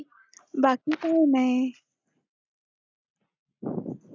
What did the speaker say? बाकी काय नाय